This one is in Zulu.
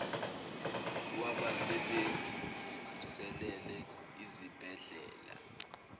wabasebenzi sivuselele izibhedlela